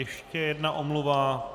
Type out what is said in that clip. Ještě jedna omluva.